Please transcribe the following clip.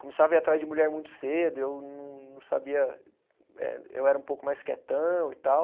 Começava a ir atrás de mulher muito cedo e eu não não sabia, eh eu era um pouco mais quietão e tal.